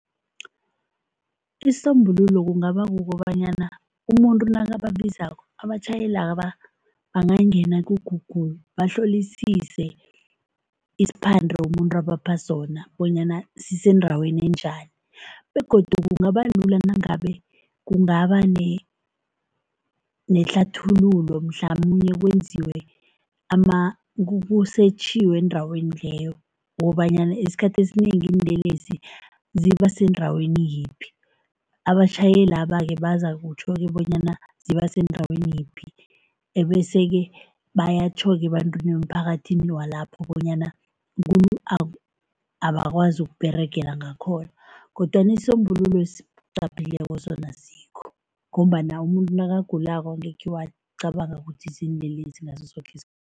Isisombululo kungaba kukobanyana umuntu nakababizako, abatjhayelaba bangangena ku-Google, bahlolisise isiphande umuntu abapha sona bonyana sisendaweni njani begodu kungaba lula nangabe kungaba nehlathululo mhlamunye kwenziwe kusetjhiwe endaweni leyo ukobanyana esikhathini esinengi iinlelesi ziba sendaweni yiphi. Abatjhayelaba-ke bekazakutjho-ke bonyana ziba sendaweni yiphi ebese-ke bayatjho-ke ebantwini nemphakathini walapho bonyana abakwazi ukuberegela ngakhona kodwana isisombululo sona asikho ngombana umuntu nakagulako angekhe wacabanga ukuthi ziinlelesi ngaso soke